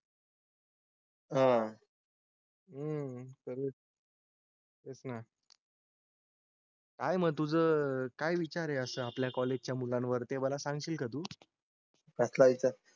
हा. हम्म तर. ना. आहे. मग तुझं काय विचार आहे असं आपल्या कॉलेजच्या मुलांवर ते मला सांगशील का तू? कसला विचार?